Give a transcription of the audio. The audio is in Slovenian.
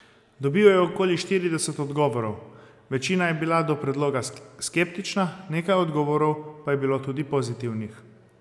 Dobil je okoli štirideset odgovorov, večina je bila do predloga skeptična, nekaj odgovorov pa je bilo tudi pozitivnih.